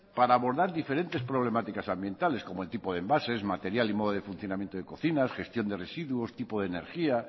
para abordar diferentes problemáticas ambientales como el tipo de envases material y modo de funcionamiento de cocinas gestión de residuos tipo de energía